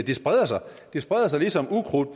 det spreder sig det spreder sig ligesom ukrudt